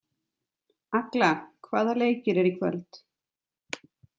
Agla, hvaða leikir eru í kvöld?